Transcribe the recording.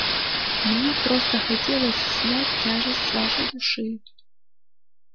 мне просто хотелось снять тяжесть с вашей души